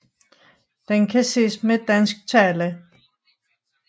Den kan ses med dansk tale